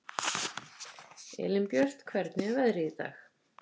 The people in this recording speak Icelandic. Elínbjört, hvernig er veðrið í dag?